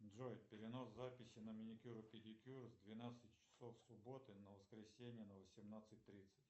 джой перенос записи на маникюр и педикюр с двенадцати часов субботы на воскресенье на восемнадцать тридцать